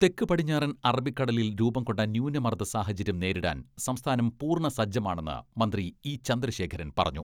തെക്ക് പടിഞ്ഞാറൻ അറബിക്കടലിൽ രൂപം കൊണ്ട് ന്യൂനമർദ്ദ സാഹചര്യം നേരിടാൻ സംസ്ഥാനം പൂർണ്ണ സജ്ജമാണെന്ന് മന്ത്രി ഇ ചന്ദ്രശേഖരൻ പറഞ്ഞു.